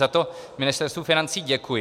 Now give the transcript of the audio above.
Za to Ministerstvu financí děkuji.